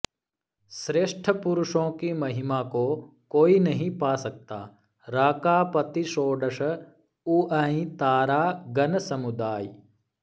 श्रेष्ठ पुरुषोंकी महिमाको कोई नहीं पा सकता राकापति षोड़स उअहिं तारा गन समुदाइ